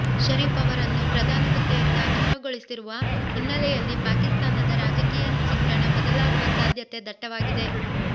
ಶರೀಫ್ ಅವರನ್ನು ಪ್ರಧಾನಿ ಹುದ್ದೆಯಿಂದ ಅನರ್ಹಗೊಳಿಸಿರುವ ಹಿನ್ನೆಲೆಯಲ್ಲಿ ಪಾಕಿಸ್ತಾನದ ರಾಜಕೀಯ ಚಿತ್ರಣ ಬದಲಾಗುವ ಸಾಧ್ಯತೆ ದಟ್ಟವಾಗಿದೆ